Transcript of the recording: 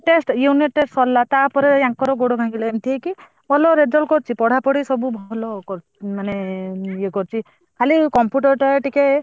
ତାପରେ ୟାଙ୍କର ଗୋଡ ଭାଙ୍ଗି ଏମତି ହେଇକି ଭଲ result କରିଛି ପଢା ପଢି ସବୁ ଭଲ ମାନେ ଇଏ କରିଛି ଖାଲି computer ଟା ଟିକେ।